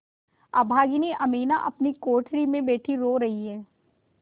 अभागिनी अमीना अपनी कोठरी में बैठी रो रही है